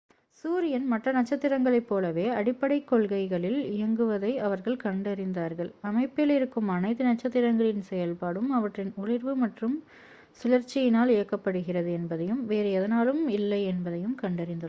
சூரியன் மற்ற நட்சத்திரங்களைப் போலவே அடிப்படைக் கொள்கைகளில் இயங்குவதை அவர்கள் கண்டறிந்தார்கள் அமைப்பில் இருக்கும் அனைத்து நட்சத்திரங்களின் செயல்பாடும் அவற்றின் ஒளிர்வு மற்றும் சுழற்சியினால் இயக்கப்படுகிறது என்பதையும் வேறு எதனாலும் இல்லை என்பதையும் கண்டறிந்துள்ளனர்